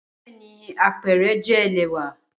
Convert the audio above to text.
Bẹẹni, apẹrẹ jẹ ẹlẹwà.